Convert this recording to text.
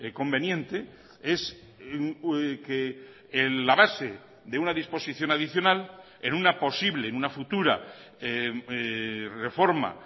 conveniente es que la base de una disposición adicional en una posible en una futura reforma